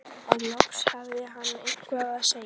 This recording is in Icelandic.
En loksins hafði hann eitthvað að segja.